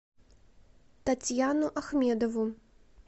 татьяну ахмедову